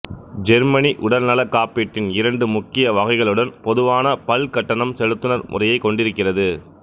Germany உடல்நலக் காப்பீட்டின் இரண்டு முக்கிய வகைகளுடன் பொதுவான பல்கட்டணம் செலுத்துனர் முறையைக் கொண்டிருக்கிறது